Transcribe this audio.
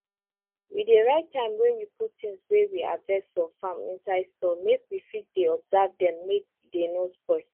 we dey write time wey we put things wey we harvest for farm inside store make we fit dey observe dem make dey no spoil